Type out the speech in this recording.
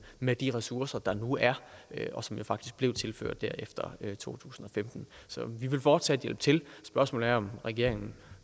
med de ressourcer der nu er og som jo faktisk blev tilført efter to tusind og femten så vi vil fortsat hjælpe til spørgsmålet er om regeringen